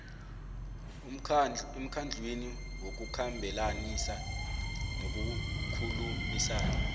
emkhandlwini wokukhambelanisa nokukhulumisana